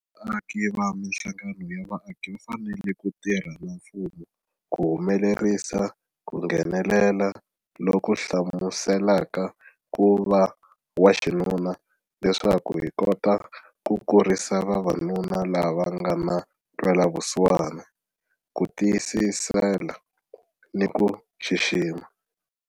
Vaaki na mihlangano ya vaaki va fanele ku tirha na mfumo ku humelerisa ku nghenelela loku hlamuselaka ku va waxinuna leswaku hi kota ku kurisa vavanuna lava nga na ntwela vusiwana, ku tiyisela ni ku xixima.